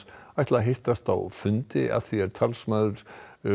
ætla að hittast á fundi að því er talsmaður